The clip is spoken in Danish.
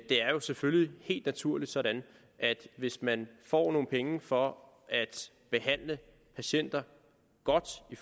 er jo selvfølgelig helt naturligt sådan at hvis man får nogle penge for at behandle patienter godt i